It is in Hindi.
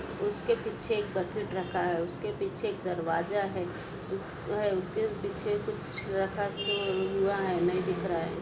उसके पीछे एक बकेट रखा है उसके पीछे एक दरवाजा है उसके पीछे कुछ रखा सा हुआ है नहीं दिख रहा है।